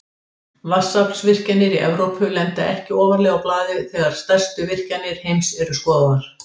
Vatnsaflsvirkjanir í Evrópu lenda ekki ofarlega á blaði þegar stærstu virkjanir heims eru skoðaðar.